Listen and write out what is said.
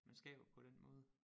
Man skaber på den måde